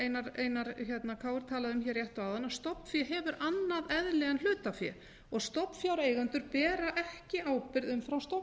einar krónu talaði um hér rétt áðan að stofnfé hefur annað eðli en hlutafé stofnfjáreigendur bera ekki ábyrgð umfram